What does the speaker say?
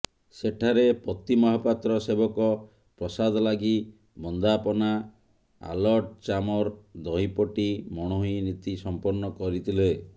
ସେଠାରେ ପତିମହାପାତ୍ର ସେବକ ପ୍ରସାଦଲାଗି ବନ୍ଦାପନା ଆଲଟଚାମର ଦହିପଟି ମଣୋହି ନୀତି ସଂପନ୍ନ କରିଥିଲେ